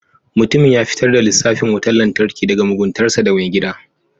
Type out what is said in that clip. Mutumin ya fitar da lissafin wutar lantarki daga muguntarsa ga mai gida.